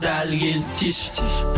дәл келді тиші тиші